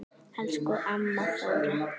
Elsku amma Þóra.